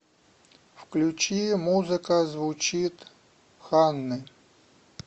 включи музыка звучит ханны